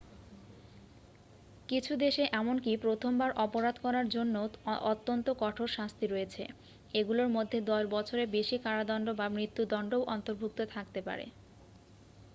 কিছু দেশে এমনকি প্রথমবার অপরাধ করার জন্যও অত্যন্ত কঠোর শাস্তি রয়েছে এগুলোর মধ্যে 10 বছরের বেশি কারাদণ্ড বা মৃত্যদণ্ডও অন্তর্ভুক্ত থাকতে পারে